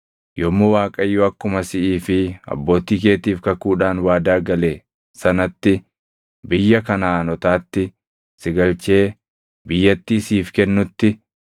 “Yommuu Waaqayyo akkuma siʼii fi abbootii keetiif kakuudhaan waadaa gale sanatti biyya Kanaʼaanotaatti si galchee biyyattii siif kennutti,